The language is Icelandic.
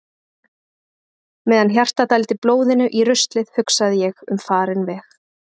Meðan hjartað dældi blóðinu í ruslið hugsaði ég um farinn veg.